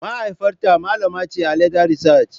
Mahaifiyata malama ce a leather research.